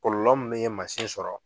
Kɔlɔlɔ mun ye masin sɔrɔ.